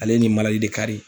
Ale ni de